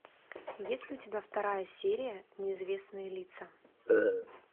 есть ли у тебя вторая серия неизвестные лица